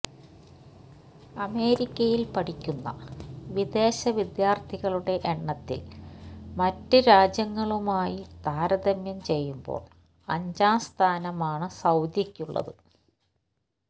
അമേരിക്കയിൽ പഠിക്കുന്ന വിദേശ വിദ്യാർഥികളുടെ എണ്ണത്തിൽ മറ്റു രാജ്യങ്ങളുമായി താരതമ്യം ചെയ്യുമ്പോൾ അഞ്ചാം സ്ഥാനമാണു സൌദിക്കുള്ളത്